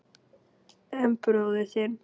En bróðir þinn.